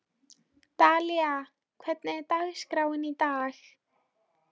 Dalía, hvernig er dagskráin í dag?